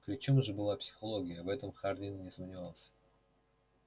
ключом же была психология в этом хардин не сомневался